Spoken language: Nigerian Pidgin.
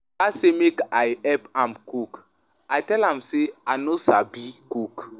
Oga say make I help am cook, I tell am say I no sabi cook.